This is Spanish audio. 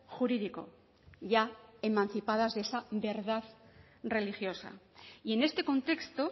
jurídico ya emancipadas de esa verdad religiosa y en este contexto